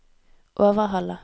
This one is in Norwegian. Overhalla